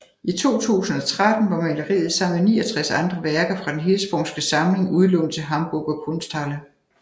I 2013 var maleriet sammen med 69 andre værker fra Den Hirschsprungske Samling udlånt til Hamburger Kunsthalle